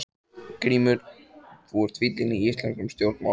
GRÍMUR: Þú ert fíllinn í íslenskum stjórnmálum!